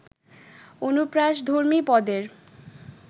অনুপ্রাসধর্মী পদের